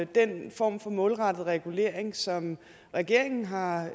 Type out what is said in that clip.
den form for målrettet regulering som regeringen har